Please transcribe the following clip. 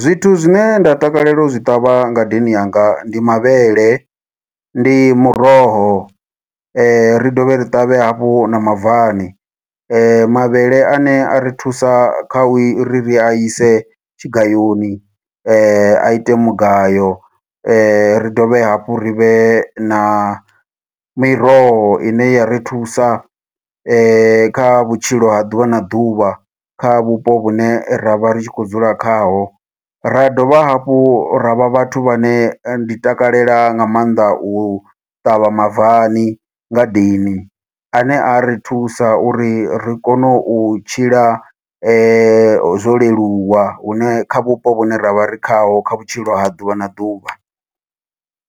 Zwithu zwine nda takalela u zwi ṱavha ngadeni yanga ndi mavhele, ndi muroho, ri dovhe ri ṱavhe hafhu na mabvani. Mavhele ane a ri thusa kha u i ri ri a ise tshigayoni, ite mugayo. Ri dovhe hafhu ri vhe na miroho ine ya ri thusa, kha vhutshilo ha ḓuvha na ḓuvha, kha vhupo vhune ra vha ri tshi khou dzula khaho. Ra dovha hafhu ra vha vhathu vhane ndi takalela nga maanḓa u ṱavha mabvani ngadeni, ane a ri thusa uri ri kone u tshila zwo leluwa, hune kha vhupo vhune ra vha ri khaho kha vhutshilo ha ḓuvha na ḓuvha,